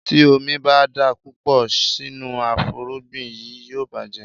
Tí omi ń bá dà púpọ̀ sínú afúrúgbìn yí, yóò bàjẹ́.